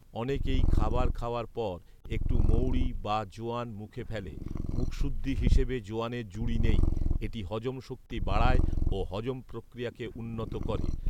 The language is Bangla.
অনেকেই খাবার খাওয়ার পর একটু মৌড়ি বা জোয়ান মুখে ফেলে৷ মুখশুদ্ধি হিসেবে জোয়ানের জুড়ি নেই ৷এটি হজম শক্তি বাড়ায় ও হজম প্রক্রিয়াকে উন্নত করে